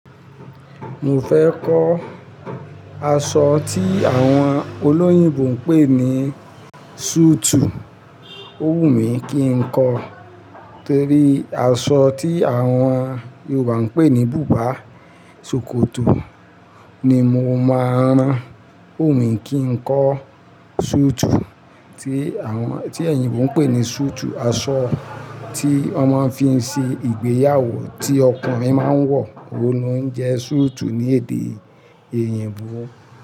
Mo fẹ́ kọ́ aṣọ tí àwọn olóyìnbo ń pè ní súùtù. Ó wù mí kí n kọ. Torí aṣọ tí àwọn Yorùbá ń pè ní bùbá sokoto ni mo máa ń rán. Ó wù mí kí n kọ súùtù tí àwọn, tí ẹ̀yìnbo ń pè ní súùtù. Aṣọ tí wọ́n máa ń fi ń ṣe ìgbéyàwó tí ọkùnrin máa ń wọ̀, òun ni ó ń jẹ́ súùtù ní èdè Eyìnbó.